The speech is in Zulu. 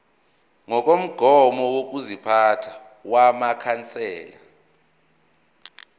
ngokomgomo wokuziphatha wamakhansela